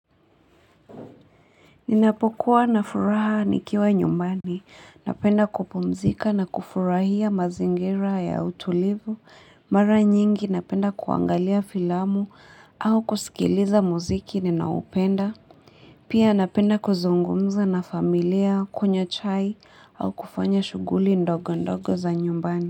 Ninapokuwa na furaha nikiwa nyumbani, napenda kupumzika na kufurahia mazingira ya utulivu, mara nyingi napenda kuangalia filamu au kusikiliza muziki ninaupenda pia napenda kuzungumza na familia kunywa chai au kufanya shughuli ndogo ndogo za nyumbani.